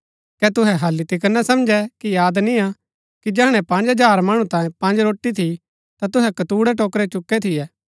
कै तुहै हालि तिकर ना समझै कि याद निय्आ कि जैहणै पँज हजार मणु तांयें पँज रोटी थी ता तुहै कतूणैं टोकरै चुकै थियै